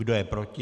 Kdo je proti?